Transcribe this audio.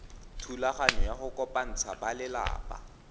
thulaganyo ya go kopantsha balelapa